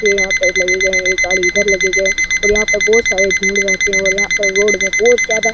तो यहाँ पेड़ लगे गए है एक गाड़ी इधर लगे गए है और यहाँ पर बहुत सारे भीड़ रहते है और यहाँ पर रोड में --